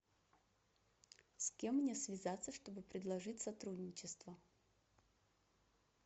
с кем мне связаться чтобы предложить сотрудничество